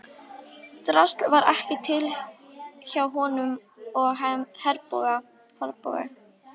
Drasl var ekki til hjá honum og Herborgu.